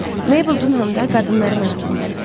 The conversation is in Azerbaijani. Mabel Dunham da qadınların arasında idi.